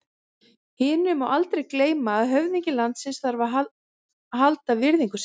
Hinu má aldrei gleyma að höfðingi landsins þarf að halda virðingu sinni.